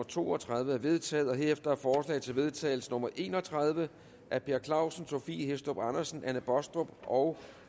to og tredive er vedtaget herefter er forslag til vedtagelse nummer v en og tredive af per clausen sophie hæstorp andersen anne baastrup og